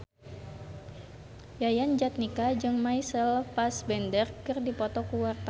Yayan Jatnika jeung Michael Fassbender keur dipoto ku wartawan